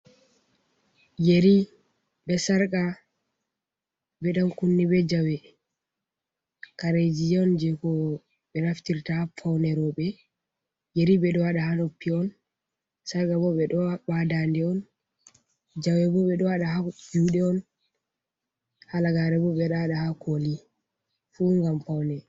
Yeri, be sarka, be ɗan kunne, be jawe, karejii on jei ko ɓe naftirta ha paune robe. Yeri ɓeɗo waɗa ha noppi on. Sarka bo ɓe ɗo waɗa ha dande on. Jawe bo ɓe ɗo waɗa ha juɗe on. Halagare bo ɓe ɗo waɗa ha koli fu ngam paune.